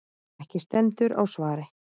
Ekki stendur á svari.